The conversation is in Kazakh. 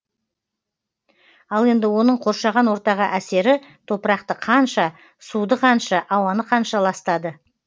ал енді оның қоршаған ортаға әсері топырақты қанша суды қанша ауаны қанша ластады